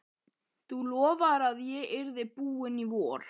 Þú lofaðir að ég yrði búinn í vor!